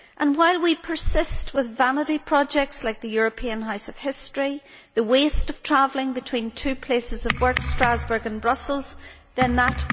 While we persist with vanity projects like the European House of History or the waste of travelling between two places of work, Strasbourg and Brussels, then that will not change.